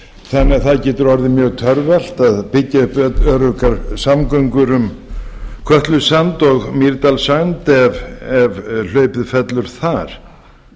þannig að það getur orðið mjög torvelt að byggja upp öruggar samgöngur um kötlusand og mýrdalssand ef hlaupið fellur þar